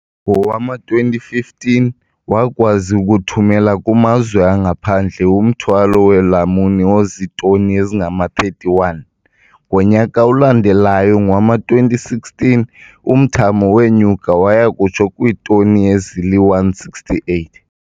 Ngowama-2015, wakwazi ukuthumela kumazwe angaphandle umthwalo weelamuni ozitoni ezingama-31. Ngonyaka olandelayo, ngowama-2016, umthamo wenyuka waya kutsho kwiitoni ezili-168.